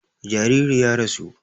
Jaririn ya rasu